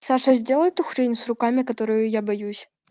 саша сделал эту хрень с руками которую я боюсь